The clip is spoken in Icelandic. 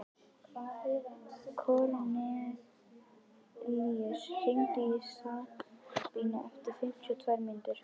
Kornelíus, hringdu í Sabínu eftir fimmtíu og tvær mínútur.